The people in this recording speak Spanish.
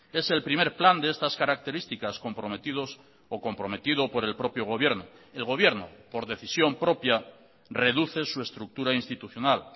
es el primer plan de estas características comprometidos o comprometido por el propio gobierno el gobierno por decisión propia reduce su estructura institucional